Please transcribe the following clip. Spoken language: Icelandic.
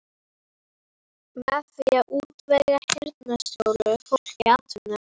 Með því að útvega heyrnarsljóu fólki atvinnu.